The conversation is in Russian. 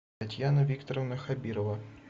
татьяна викторовна хабирова